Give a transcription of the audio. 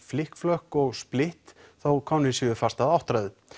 splitt þó komnir séu fast að áttræðu